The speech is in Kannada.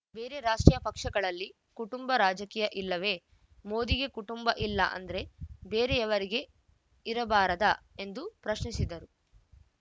ಬೇರೆ ರಾಷ್ಟ್ರೀಯ ಪಕ್ಷಗಳಲ್ಲಿ ಕುಟುಂಬ ರಾಜಕೀಯ ಇಲ್ಲವೇ ಮೋದಿಗೆ ಕುಟುಂಬ ಇಲ್ಲ ಅಂದ್ರೆ ಬೇರೆಯವರಿಗೆ ಇರಬಾರದಾ ಎಂದು ಪ್ರಶ್ನಿಸಿದರು